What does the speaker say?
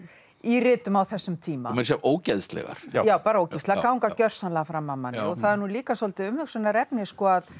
í ritum á þessum tíma og meira að segja ógeðslegar já já bara ógeðslegar ganga gjörsamlega fram af manni og það er nú líka svolítið umhugsunarefni að